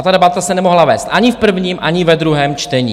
A ta debata se nemohla vést ani v prvním, ani ve druhém čtení.